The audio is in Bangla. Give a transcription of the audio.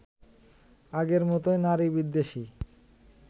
আগের মতোই নারীবিদ্বেষী